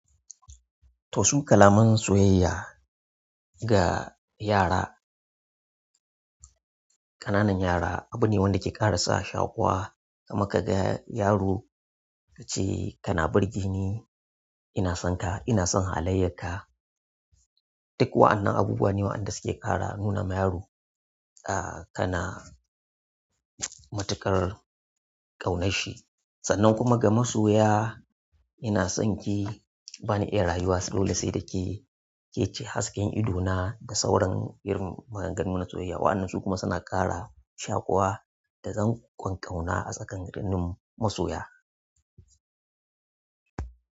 Toh su kalaman soyayya ga yara. Ƙananan yara abu ne wanda ke ƙara sa shaƙuwa. Kuma kaga yaro kace kana burgeni ina sonka ina son halayyar ka duk wa'annan abubuwa ne waɗanda suke ƙara nuna ma yaro, ah, kana matuƙar ƙaunarshi. Sannan kuma ga masoya ina sonki bani iya rayuwa dole sai da ke, ke ce hasken idona da sauran irin maganganu na soyayya. Wa'annan su kuma suna ƙara shakuwa da dan ƙon ƙauna a tsakankanin masoya.